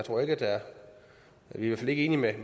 i hvert fald enige med